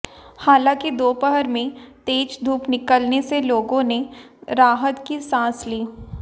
हालांकि दोपहर में तेज धूप निकलने से लोगों ने राहत की सांस ली